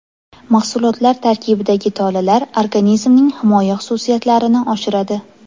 Mahsulotlar tarkibidagi tolalar organizmning himoya xususiyatlarini oshiradi.